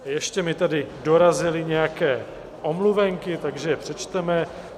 Ještě mi tady dorazily nějaké omluvenky, takže je přečteme.